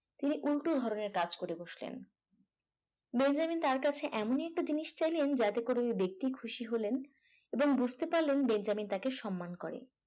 তিনি উল্টো ধরনের কাজ করে বসলেন বেঞ্জামিন তার কাছে এমন একটা জিনিস চাইলেন যাতে করে ঐ ব্যক্তি খুশি হলেন এবং বুঝতে পারলেন বেঞ্জামিন তাকে সম্মান করে